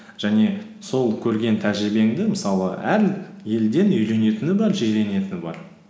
және сол көрген тәжірибеңді мысалы әр елден үйренетіні бар жиренетіні бар